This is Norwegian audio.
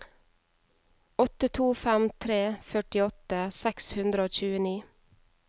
åtte to fem tre førtiåtte seks hundre og tjueni